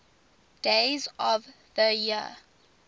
days of the year